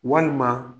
Walima